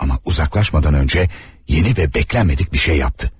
Amma uzaqlaşmadan öncə yeni və gözləmədik bir şey yapdı.